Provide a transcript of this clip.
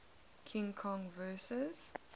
king kong vs